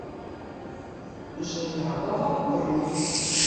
желябова бронь